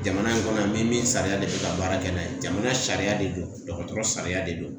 Jamana in kɔnɔ yan min sariya de be ka baara kɛ n'a ye jamana sariya de do dɔgɔtɔrɔ sariya de do